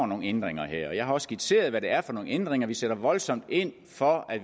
nogle ændringer og jeg har også skitseret hvad det er for nogle ændringer vi vil sætte voldsomt ind for at